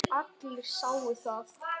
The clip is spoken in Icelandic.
Allir sáu það.